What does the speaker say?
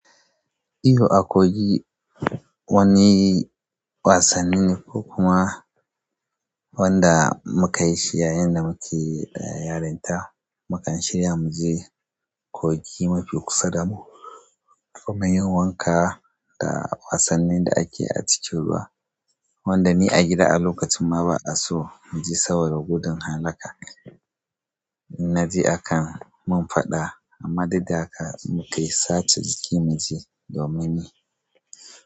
Iyo, akogi wani wasanni ne ko kuma wanda muka yi shi yayin da muke yarinta. Mukan shirya mu je kogi mafi kusa da mu kuma yin wanka da wasannin da ake a cikin ruwa, wanda ni a gida a lokacin ma ba a so mu je saboda gudun halaka. In naje akan mun faɗa, amma duk dahaka muka yi sace jiki mu je domin ni.